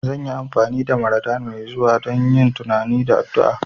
Zan yi amfani da Ramadan mai zuwa don yin tunani da addu'a